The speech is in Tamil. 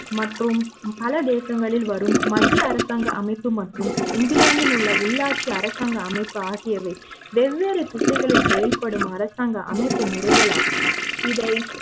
மற்றும் பல தேசங்களில் வரும் மத்திய அரசாங்க அமைப்பு மற்றும் இங்கிலாந்தில் உள்ள உள்ளாட்சி அரசாங்க அமைப்பு ஆகியவை வெவ்வேறு திசைகளில் செயல்படும் அரசாங்க அமைப்பு முறைகளாகும் இதை